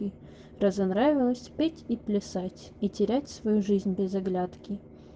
и разонравилось петь и плясать и терять свою жизнь без оглядки